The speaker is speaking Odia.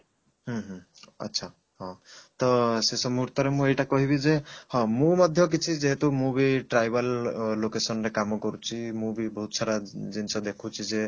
ହୁଁ ହୁଁ ଆଚ୍ଛା ହଁ ତ ଶେଷ ମୁହୂର୍ତରେ ମୁଁ ଏଇଟା କହିବି ଯେ ହଁ ମୁଁ ମଧ୍ୟ କିଛି ଯେହେତୁ ମୁଁ ବି tribal ଲୋ location ରେ କାମ କରୁଛି ମୁଁ ବି ବହୁତ ସାରା ଜିନିଷ ଦେଖୁଛି ଯେ